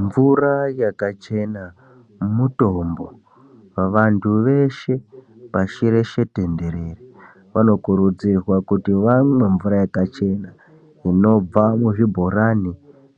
Mvura yakachena mutombo, vantu veshe pashireshe tenderere vanokurudzirwa kuti vamwe mvura yakachena. Inobva muzvibhorani